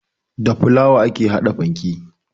Da fulawa ake haɗa fanke